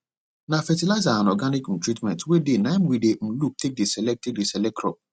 na fertilizer and organic um treatment wey dey naim we dey um look take dey select take dey select crop